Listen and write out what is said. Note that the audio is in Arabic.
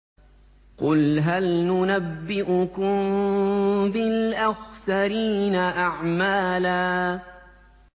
قُلْ هَلْ نُنَبِّئُكُم بِالْأَخْسَرِينَ أَعْمَالًا